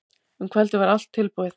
Um kvöldið var allt tilbúið.